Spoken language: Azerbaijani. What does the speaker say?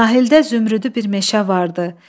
Sahildə zümrüdü bir meşə vardı.